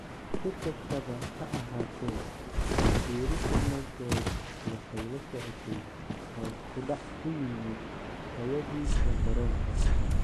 Si kastaba ha ahaatee, ku biiristiisa United waxay la socotay hoos u dhac ku yimid tayadiisa garoonka.